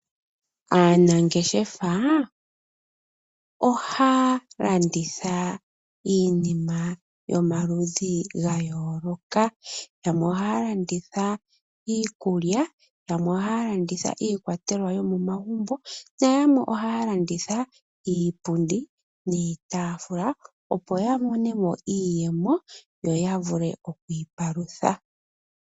Aanangeshefa ohaya landitha iinima yomaludhi gayooloka. Yamwe ohaya landitha iikulya, yamwe ohaya landitha iikwatelwa yomomagumbo nayamwe ohaya landitha iipundi niitaafula opo yamonemo iiyemo yo yavule okwiipalutha.